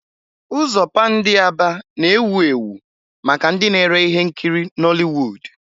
Ụzọ Pándị Aba na-ewu ewu maka ndị na-ere ihe nkiri Nollịwụ́d.